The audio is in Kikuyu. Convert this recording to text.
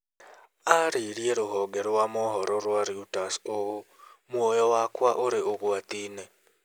Aarĩirie rũhonge rwa mohoro rwa Reuters ũũ: "Muoyo wakwa ũrĩ ũgwati-inĩ".